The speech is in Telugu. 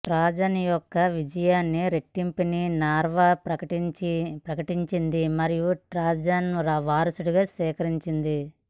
ట్రాజన్ యొక్క విజయాన్ని రెండింటినీ నార్వా ప్రకటించింది మరియు ట్రాజన్ను వారసుడిగా స్వీకరించింది